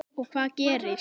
Og hvað gerist?